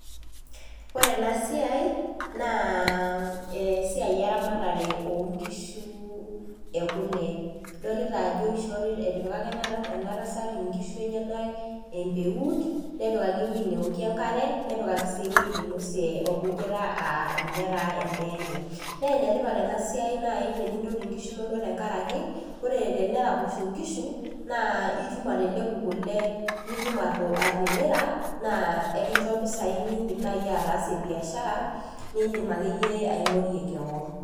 Oore eena siai naa esiai eramatre oo nkishu ee kule. Idolita aajo etipikaka eena tasat inkishu enyenak empeut, nepikaki ewueji neokie enkare nepikaki sii ewueji neinosie orkujita aa ninye en'daa eenye. Na enetipat eena siai naaji tenintoti inkishu inonok tenkaraki, oore teneraposho inkishu, naa itum atelepu kuule naa itum atimira, naa ekincho impisai naaji niid'im ataasie biashara, niidim akeyie aing'orie keon.